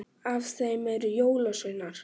Af þeim eru jólasveinar